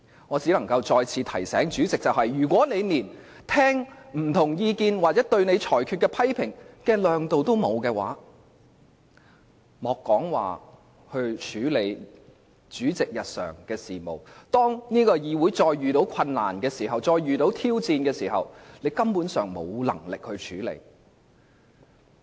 我只能再次提醒主席，如果他連聆聽不同意見或對其裁決的批評的胸襟也沒有，莫說處理主席的日常事務，當議會再遇到困難或挑戰時，他根本沒有能力處理。